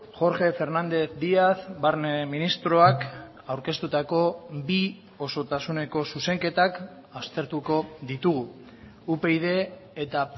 jorge fernández díaz barne ministroak aurkeztutako bi osotasuneko zuzenketak aztertuko ditugu upyd eta